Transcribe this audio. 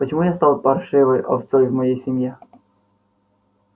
почему я стал паршивой овцой в моей семье